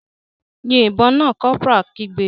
Yin ìbọn náà!, corporal kigbe.